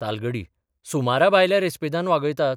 तालगडी सुमराभायल्या रेस्पेदान वागयतात.